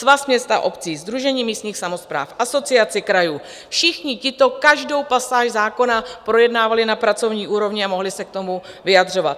Svaz měst a obcí, Sdružení místních samospráv, Asociace krajů, všichni tito každou pasáž zákona projednávali na pracovní úrovni a mohli se k tomu vyjadřovat.